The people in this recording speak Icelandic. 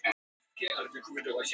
Maturinn var svo góður!